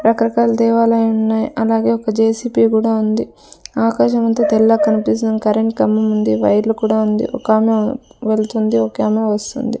రకరకాల దేవాలయ ఉన్నాయ్ అలాగే ఒక జె_సి_పి కూడా ఉంది ఆకాశమంతా తెల్లగ కనిపిస్తుంది కరెంట్ కంబం ఉంది వైర్లు కూడా ఉంది ఒకామె వెళ్తుంది ఒకామె వస్తుంది.